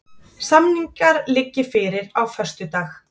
Samningar liggi fyrir á föstudag